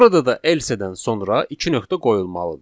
Burada da else-dən sonra iki nöqtə qoyulmalıdır.